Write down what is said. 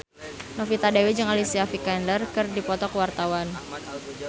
Novita Dewi jeung Alicia Vikander keur dipoto ku wartawan